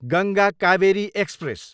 Ganga Kaveri express